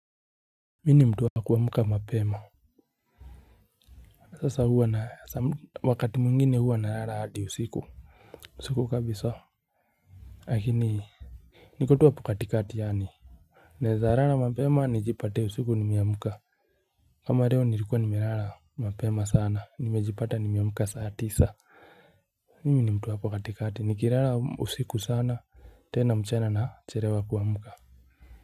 Mimi ni mtu wa kuamka mapema. Sasa huwa na wakati mwingine huwa nalala hadi usiku. Usiku kabisa lakini niko tu hapo kati kati yaani naeza lala mapema nijipate usiku nimeamka. Kama leo nilikuwa nimelala mapema sana nimejipata nimeamka saa tisa. Mimi ni mtu wa hapo katikati nikilala usiku sana. Tena mchana na chelewa kuamka.